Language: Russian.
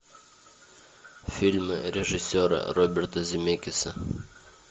фильмы режиссера роберта земекиса